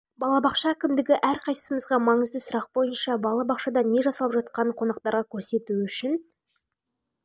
бала бақша әкімдігі әрқайсымызға маңызды сұрақ бойынша бала бақшада не жасалып жатқанын қонақтарға көрсету үшін бар